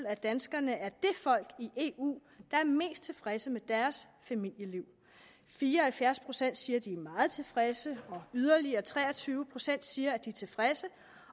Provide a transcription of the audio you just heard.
at danskerne er det folk i eu der er mest tilfredse med deres familieliv fire og halvfjerds procent siger at de er meget tilfredse yderligere tre og tyve procent siger at de er tilfredse